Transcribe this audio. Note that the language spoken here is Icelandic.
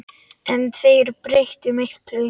En þeir breyttu miklu.